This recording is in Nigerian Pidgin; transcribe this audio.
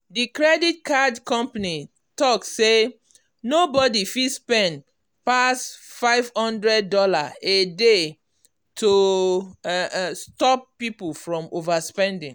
the credit card company talk say nobody fit spend pass five hundred dollars a day to um stop people from overspending.